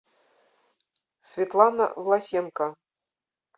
светлана власенко